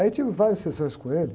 Aí tive várias sessões com ele.